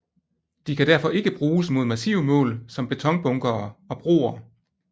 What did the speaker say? De kan derfor ikke bruges mod massive mål som betonbunkere og broer